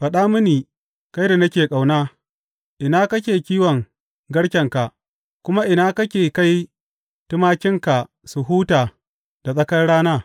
Faɗa mini, kai da nake ƙauna, ina kake kiwon garkenka kuma ina kake kai tumakinka su huta da tsakar rana.